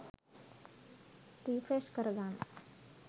Refresh කරගන්න.